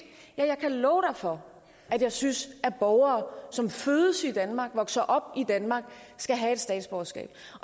ja så jeg kan love for at jeg synes at borgere som fødes i danmark som vokser op i danmark skal have et statsborgerskab